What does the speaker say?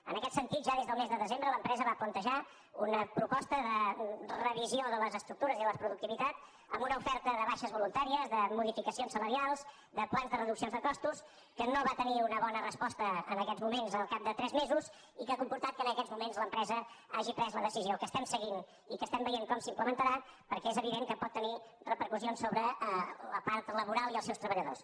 en aquest sentit ja des del mes de desembre l’empresa va plantejar una proposta de revisió de les estructures i de la productivitat amb una oferta de baixes voluntà ries de modificacions salarials de plans de reduccions de costos que no va tenir una bona resposta en aquests moments al cap de tres mesos i que ha comportat que en aquests moments l’empresa hagi pres la decisió que estem seguint i que estem veient com s’implementarà perquè és evident que pot tenir repercussions sobre la part laboral i els seus treballadors